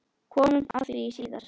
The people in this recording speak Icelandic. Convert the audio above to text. Komum að því síðar.